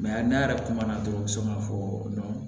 ne yɛrɛ kuma na dɔrɔn n mi se ka fɔ